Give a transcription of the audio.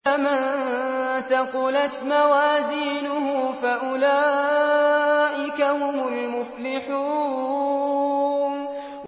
فَمَن ثَقُلَتْ مَوَازِينُهُ فَأُولَٰئِكَ هُمُ الْمُفْلِحُونَ